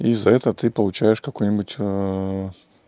из-за этого ты получаешь какую-нибудь